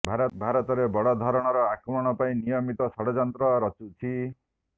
ଭାରତରେ ବଡ଼ ଧରଣର ଆକ୍ରମଣ ପାଇଁ ନିୟମିତ ଷଡ଼ଯନ୍ତ୍ର ରଚୁଛି